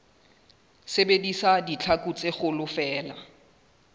sebedisa ditlhaku tse kgolo feela